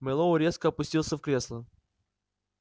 мэллоу резко опустился в кресло